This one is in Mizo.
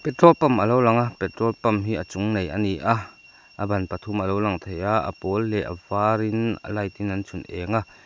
trol pump a lo lang a petrol pump hi a chung nei a ni a a ban pathum a lo lang thei a a pawl leh a varin a light in an chhun eng a.